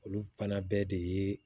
Olu fana bɛɛ de ye